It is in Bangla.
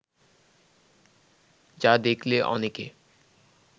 যা দেখলে অনেকে